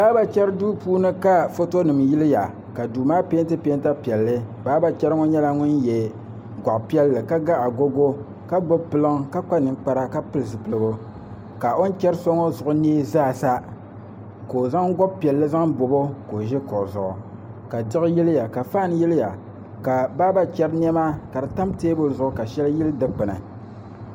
Baaba chɛri duu puuni ka foto nim yiliya ka duu maa peenti peenta piɛlli baaba chɛri ŋo nyɛla ŋun yɛ goɣa piɛlli ka ga agogo ka gbubi piliŋ ka kpa ninkpara ka pili zipiligu ka o ni chɛri so ŋo zuɣu nee zaasa ka o zaŋ bobi piɛlli zaŋ bobo ka o ʒi kuɣu zuɣu ka diɣi yiliya ka fan yiliya ka baaba chɛri niɛma ka di tam teebuli zuɣu ka shɛli yili dikpuni